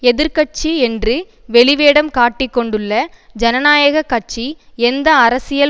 எதிர் கட்சி என்று வெளிவேடம் காட்டிக்கொண்டுள்ள ஜனநாயக கட்சி எந்த அரசியல்